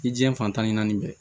I diɲɛ fantan ni naani bɛɛ